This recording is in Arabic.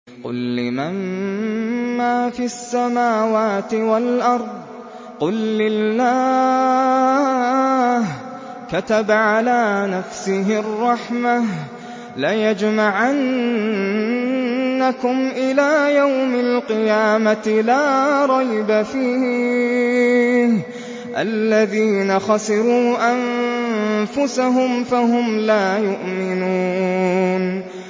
قُل لِّمَن مَّا فِي السَّمَاوَاتِ وَالْأَرْضِ ۖ قُل لِّلَّهِ ۚ كَتَبَ عَلَىٰ نَفْسِهِ الرَّحْمَةَ ۚ لَيَجْمَعَنَّكُمْ إِلَىٰ يَوْمِ الْقِيَامَةِ لَا رَيْبَ فِيهِ ۚ الَّذِينَ خَسِرُوا أَنفُسَهُمْ فَهُمْ لَا يُؤْمِنُونَ